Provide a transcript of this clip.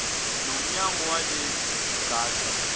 nomnyakazo walezi zigaxa